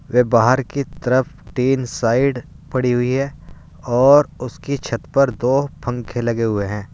वे बाहर की तरफ तीन साइड पड़ी हुई है और उसकी छत पर दो पंखे लगे हुए हैं।